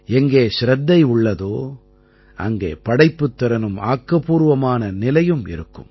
எங்கே சிரத்தை உள்ளதோ அங்கே படைப்புத் திறனும் ஆக்கப்பூர்வமான நிலையும் இருக்கும்